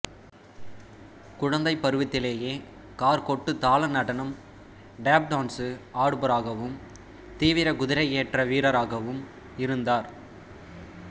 குழந்தை பருவத்திலேயே காற் கொட்டுத் தாள நடனம் டேப் டான்சு ஆடுபவராகவும் தீவிர குதிரையேற்ற வீரராகவும் இருந்தார்